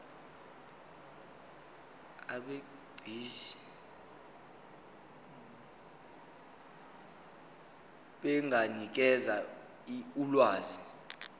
abegcis benganikeza ulwazi